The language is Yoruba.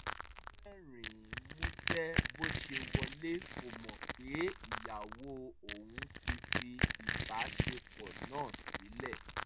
ó rẹ́rìn-ín músẹ́ bó ṣe wọlé kò mọ̀ pé ìyàwó òun ti fi ìbáṣepọ̀ náà sílẹ̀